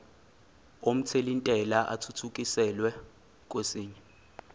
omthelintela athuthukiselwa kwesinye